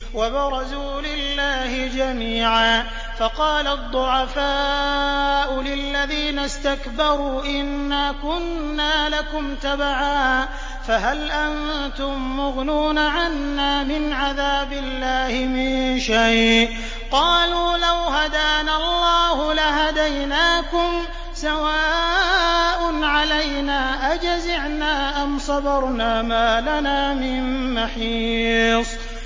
وَبَرَزُوا لِلَّهِ جَمِيعًا فَقَالَ الضُّعَفَاءُ لِلَّذِينَ اسْتَكْبَرُوا إِنَّا كُنَّا لَكُمْ تَبَعًا فَهَلْ أَنتُم مُّغْنُونَ عَنَّا مِنْ عَذَابِ اللَّهِ مِن شَيْءٍ ۚ قَالُوا لَوْ هَدَانَا اللَّهُ لَهَدَيْنَاكُمْ ۖ سَوَاءٌ عَلَيْنَا أَجَزِعْنَا أَمْ صَبَرْنَا مَا لَنَا مِن مَّحِيصٍ